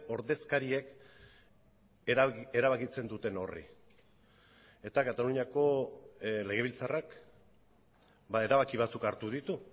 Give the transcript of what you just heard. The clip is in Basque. ordezkariek erabakitzen duten horri eta kataluniako legebiltzarrak erabaki batzuk hartu ditu